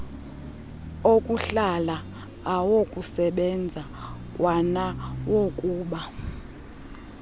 okuhlala awokusebenza kwanawokuba